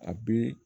A bɛ